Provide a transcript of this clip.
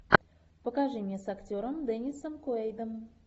покажи мне с актером деннисом куэйдом